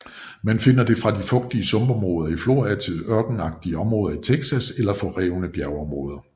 Man finder den fra de fugtige sumpområder i Florida til ørkenagtige områder i Texas eller forrevne bjergområder